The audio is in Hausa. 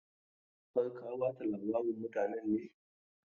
Har ka ba ta labarin mutanen ne?